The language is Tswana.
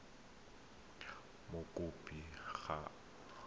e le gore mokopi ga